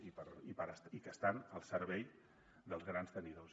i que estan al servei dels grans tenidors